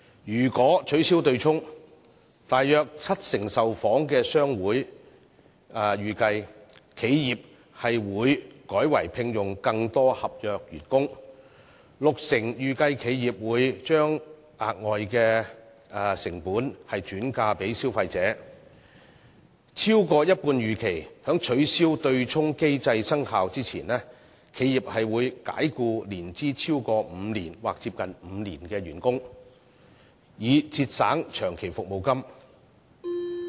如果取消對沖機制，約七成受訪商會預期企業會改為聘用更多合約員工；六成受訪商會預期企業會將額外的成本轉嫁給消費者；超過一半受訪商會預期在取消對沖機制生效前，企業會解僱年資超過5年或接近5年的員工，以節省長期服務金。